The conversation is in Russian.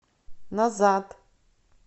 назад